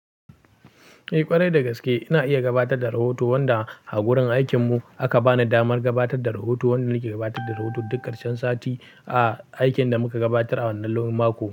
Eh ƙwarai da gaske ina iya gabatar da rahoto wanda a gurin aikin mu aka bani damar gabatar da rahoto wanda nake gabatar da rahoto duk karshen sati a aikin da muka gabatar a wannan lon mako.